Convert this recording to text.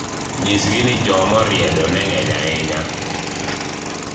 nyisgi ni jomoriedo ne ng'eny ahinya